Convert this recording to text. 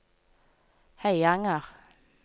Høyanger